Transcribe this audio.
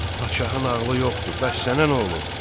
Padşahın ağlı yoxdur, bəs sənə nə olub?